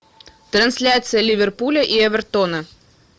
трансляция ливерпуля и эвертона